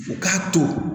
U k'a to